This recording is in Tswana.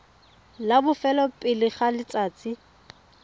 la bofelo pele ga letsatsi